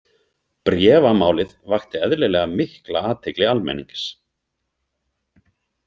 Bréfamálið vakti eðlilega mikla athygli almennings.